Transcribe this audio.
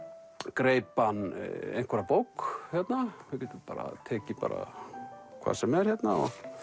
greip hann einhverja bók hérna við getum tekið hvað sem er hérna